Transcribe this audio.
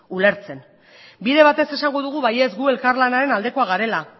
ulertzen bide batez esango dugu baietz gu elkarlanaren aldekoak garela